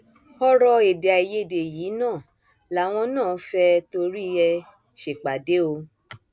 ọrọ èdèàìyedè yìí náà làwọn náà fẹẹ torí ẹ ṣèpàdé o